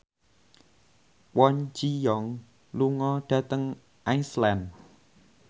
Kwon Ji Yong lunga dhateng Iceland